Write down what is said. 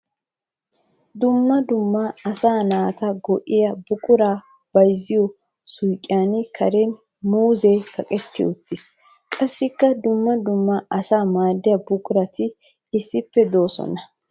Dumma dumma asaa naata go'iya buqura bayzziyo suyqqiya karen muuzze kaqqetti uttis. Qassikka dumma dumma asaa maadiya buquratti issippe de'osonna.